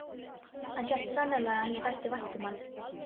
Hann hélt sannarlega að henni þætti vænt um hann.